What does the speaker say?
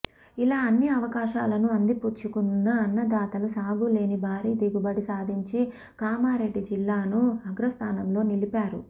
ఇలా అన్ని అవకాశాలను అందిపుచ్చుకున్న అన్నదాతలు సాగుచేసి భారీ దిగుబడి సాధించి కామారెడ్డి జిల్లాను అ్రగస్థానంలో నిలిపారు